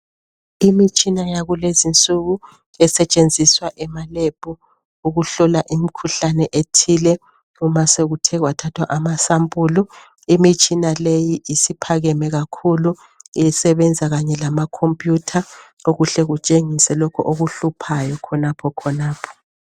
Imitshina yakulezi nsuku esetshenziswa ema Lab ukuhlola imikhuhlane ethile uma sokuthe kwathathwa amasampulu. Imitshina leyi isiphakeme kakhulu isebenza kanye lamakhompiyitha okuhle kutshengise lokho okuhluphayo khonapho khonapho.